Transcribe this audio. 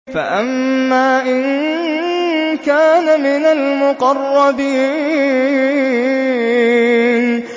فَأَمَّا إِن كَانَ مِنَ الْمُقَرَّبِينَ